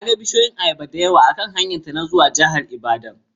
Ta ga bishiyun ayaba dayawa akan hanyarta ta zuwa jihar Ibadan.